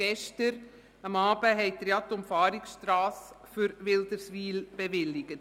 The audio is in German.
Gestern Abend haben Sie die Umfahrungsstrasse für Wilderswil bewilligt.